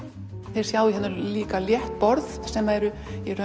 þið sjáið líka hérna létt borð sem eru